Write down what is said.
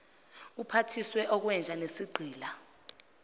uphathiswe okwenja nesigqila